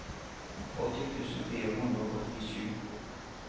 åtti tusen fire hundre og åttisju